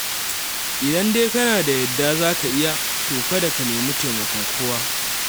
Idan dai kana da yadda za ka yi, to kada ka nemi taimakon kowa.